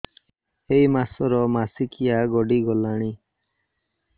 ଏଇ ମାସ ର ମାସିକିଆ ଗଡି ଗଲାଣି